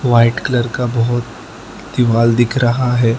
White colour का बहोत दीवाल दिख रहा है।